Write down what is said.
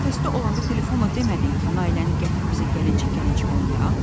Bəs kağızda olanda telefonla demədin ki, Nailəni gətir bizə gəlincik-gəlincik oynayaq?